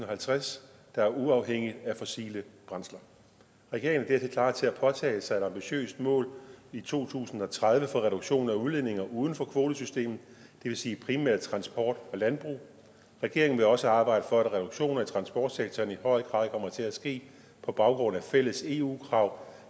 og halvtreds der er uafhængigt af fossile brændsler regeringen er dertil klar til at påtage sig et ambitiøst mål i to tusind og tredive for reduktion af udledninger uden for kvotesystemet det vil sige primært transport og landbrug regeringen vil også arbejde for at reduktion i transportsektoren i høj grad kommer til at ske på baggrund af fælles eu krav